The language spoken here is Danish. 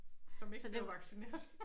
Som ikke blev vaccineret